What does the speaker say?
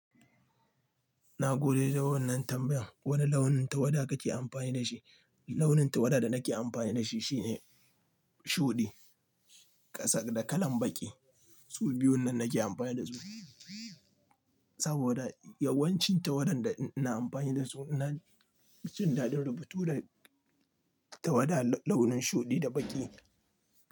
Na gode da wannan tambayan. Wane launin tawada kake amfani da shi? Launin tawada da nake amfani da shi shine shuɗi, ƙasa da kalan baƙi. Su biyu nan nake amfani da su. Saboda yawancin tawadan da ina amfani da su ina jin daɗin rubutu da tawada launin shuɗi da baƙi.